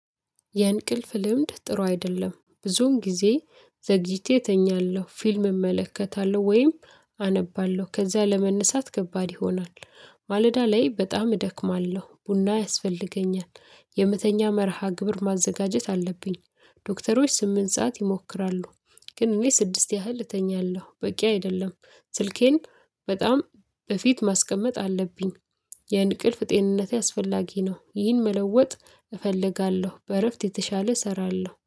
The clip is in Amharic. የእንቅልፍ ልምድ ጥሩ አይደለም። ብዙውን ጊዜ ዘግይቼ እተኛለሁ ፊልም እመለከታለሁ ወይም አነባለሁ ከዛ ለመነሳት ከባድ ይሆናል ማለዳ ላይ በጣም እደክማለሁ ቡና ያስፈልገኛል የመተኛ መርሃ ግብር ማዘጋጀት አለብኝ ዶክተሮች ስምንት ሰዓት ይሞክራሉ ግን እኔ ስድስት ያህል እተኛለሁ በቂ አይደለም ስልኬን በጣም እፊት ማስቀመጥ አለብኝ የእንቅልፍ ጤንነቴ አስፈላጊ ነው። ይህን መለወጥ እፈልጋለሁ በእረፍት የተሻለ እሰራለሁ።